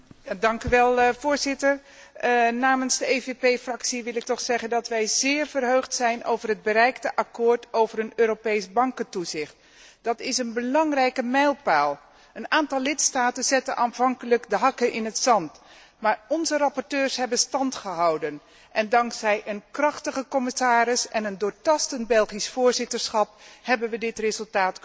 Voorzitter, namens de EVP Fractie wil ik zeggen dat wij zeer verheugd zijn over het bereikte akkoord over een Europees bankentoezicht. Dat is een belangrijke mijlpaal. Een aantal lidstaten zette aanvankelijk de hakken in het zand, maar onze rapporteurs hebben stand gehouden en dankzij een krachtige commissaris en een doortastend Belgisch voorzitterschap hebben we dit resultaat kunnen bereiken.